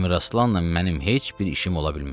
Əmir Aslanla mənim heç bir işim ola bilməz.